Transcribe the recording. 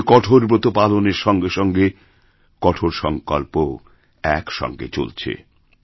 ওখানে কঠোর ব্রত পালনের সঙ্গে সঙ্গে কঠোর সংকল্পওএকসঙ্গে চলেছে